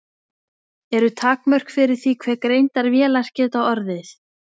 Eru takmörk fyrir því hve greindar vélar geta orðið?